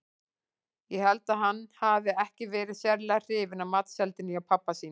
Ég held að hann hafi ekki verið sérlega hrifinn af matseldinni hjá pabba sínum.